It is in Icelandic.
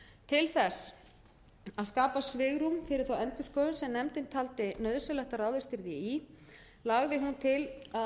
til þess að skapa svigrúm fyrir þá endurskoðun sem nefndin taldi nauðsynlegt að ráðist yrði í lagði hún til að gildistöku